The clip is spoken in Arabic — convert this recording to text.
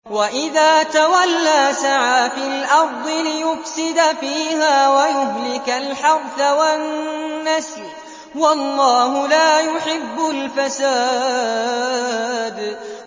وَإِذَا تَوَلَّىٰ سَعَىٰ فِي الْأَرْضِ لِيُفْسِدَ فِيهَا وَيُهْلِكَ الْحَرْثَ وَالنَّسْلَ ۗ وَاللَّهُ لَا يُحِبُّ الْفَسَادَ